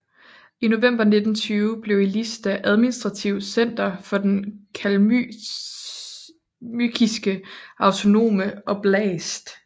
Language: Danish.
I november 1920 blev Elista administrativt center for Den kalmykiske autonome oblast